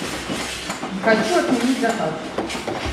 хочу отменить заказ